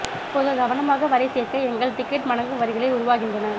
இப்போது கவனமாக வரை சேர்க்க எங்கள் டிக்கட் மடங்கு வரிகளை உருவாகின்றன